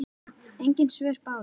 Engin svör bárust.